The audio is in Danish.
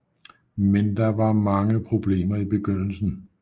Men der var mange problemer i begyndelsen